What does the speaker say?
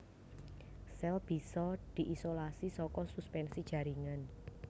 Sèl bisa diisolasi saka suspensi jaringan